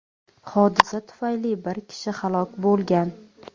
Hodisa tufayli bir kishi halok bo‘lgan.